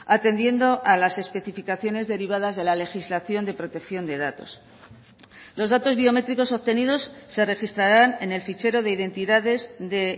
atendiendo a las especificaciones derivadas de la legislación de protección de datos los datos biométricos obtenidos se registrarán en el fichero de identidades de